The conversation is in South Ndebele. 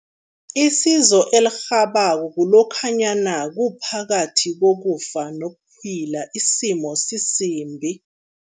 Isizo elirhabako kulokhanyana kuphakathi kokufa nokuphila, isimo sisimbi.